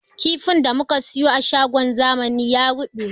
Kifin da muka siyo a shagon zamani ya ruɓe